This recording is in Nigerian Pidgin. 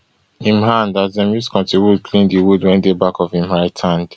im hand as dem use cotton wool clean di wound wey dey back of im right hand